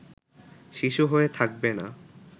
শিশু হয়ে থাকবে না